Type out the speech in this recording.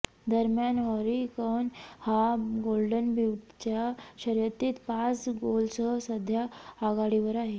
दरम्यान Harry Kane हा golden बूटच्या शर्यतीत पाच गोलसह सध्या आघाडीवर आहे